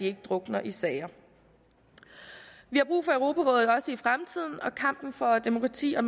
ikke drukner i sager vi har brug for europarådet også i fremtiden og kampen for demokrati og